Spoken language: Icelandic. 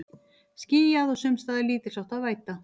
Skýjað og sums staðar lítilsháttar væta